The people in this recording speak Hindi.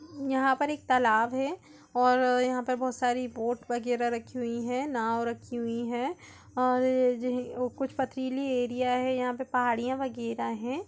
यहा पर एक तालाब है और यहा पर बहुत सारी बोट वगेरा रखी हुई है नाव रखी हुई है और कुछ पथरीली एरिया है यहा पे पहाड़ियां वगैरा है।